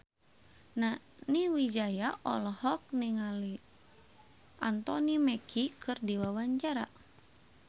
Nani Wijaya olohok ningali Anthony Mackie keur diwawancara